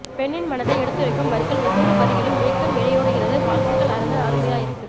பெண்ணின் மனதை எடுத்துரைக்கும் வரிகள் ஒவ்வொரு வரியிலும் ஏக்கம் இழையோடுகிறது வாழ்த்துக்கள் அரசன் அருமையா இருக்கு